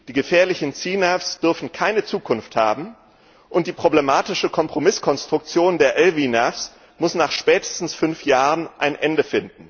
Die gefährlichen CNAVs dürfen keine Zukunft haben, und die problematische Kompromisskonstruktion der LVNAVs muss nach spätestens fünf Jahren ein Ende